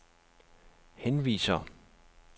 henviser